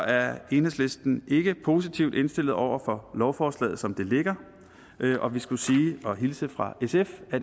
er enhedslisten ikke positivt indstillet over for lovforslaget som det ligger og vi skulle hilse fra sf og